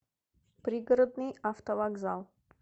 пригородный автовокзал